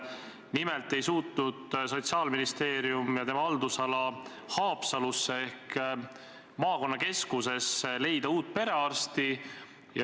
Nimelt ei suutnud Sotsiaalministeerium ja tema haldusala Haapsalusse ehk maakonnakeskusesse leida uut perearsti.